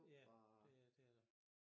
Ja det er det er det og